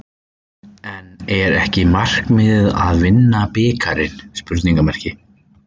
En er ekki markmiðið að vinna bikarinn?